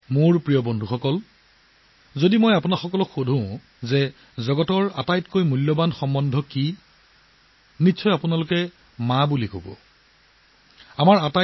মোৰ প্ৰিয় বন্ধু বান্ধৱীসকল যদি মই আপোনাক সোধো যে পৃথিৱীৰ কোনটো আটাইতকৈ মূল্যৱান সম্পৰ্ক কাৰ সৈতে থাকে তেন্তে আপোনালোকে নিশ্চিতভাৱে ক'ব "মাতৃ"